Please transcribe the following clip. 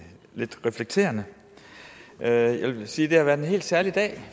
reflekterende jeg vil sige at det har været en helt særlig dag